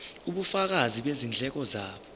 ubufakazi bezindleko zabo